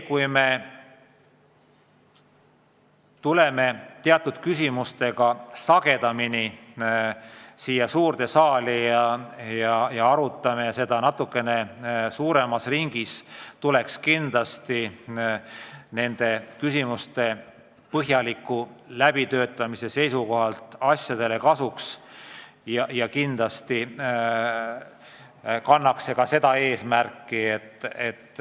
Kui me tuleme teatud küsimustega sagedamini siia saali ja arutame neid teemasid suuremas ringis, siis mõjub see küsimuste põhjaliku läbitöötamise seisukohalt kindlasti hästi.